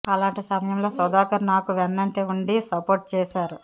అలాంటి సమయంలో సుధాకర్ నాకు వెన్నంటే ఉండి సపోర్ట్ చేశారు